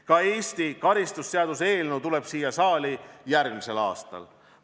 Ka Eesti kratiseaduse eelnõu tuleb järgmisel aastal siia saali.